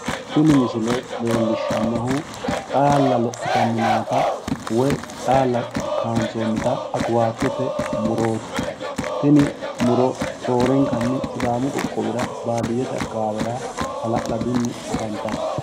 Tini misile leellishshannohu xaalla lophitanni nootta woy xaala kaayinsoonnita akuwaatote murooti, tini muro roorrenkanni sidaamu qoqqowira baadiyyete akawaawera hala'laduni afantanno.